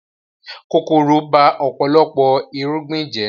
Kòkòrò ba ọ̀pọ̀lọpọ̀ irúgbìn jẹ́